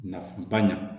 Nafaba ɲa